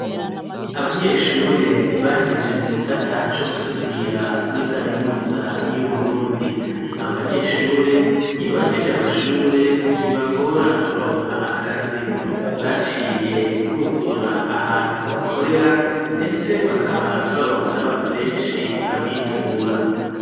Abanyeshure, bahegeje mu gisata, co gusudira, muri kaminuza y'Uburundi; abo banyeshure, iyo bahejeje amashure, ntibibagora kuronka akazi; baciye bugurura, ahantu bakorera, ndetse bakaba, baronka n'abantu benshi, babitura.